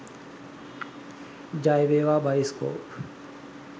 ජය වේවා බයිස්කෝප්